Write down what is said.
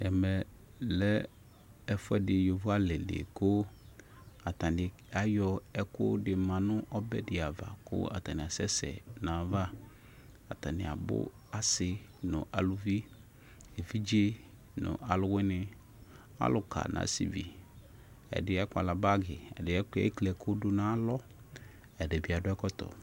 Ɛmelɛ yovo alɩdɩ kʊ atanɩ ayɔ ɛkʊdɩ manʊ ɔbɛdɩava kʊ akasɛsɛ nʊ ayʊ ava atanɩ abʊ asɩ nʊ alʊvɩ evidze nʊ alʊwɩnɩ alʊka nʊ asɩvɩ ɛdɩ akpala bagi ɛdɩ ekli ɛkʊ dʊnu alɔ edɩbɩ adʊ ɛkɔtɔ